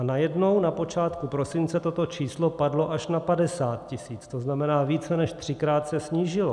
A najednou na počátku prosince toto číslo padlo až na 50 tisíc, to znamená, více než třikrát se snížilo.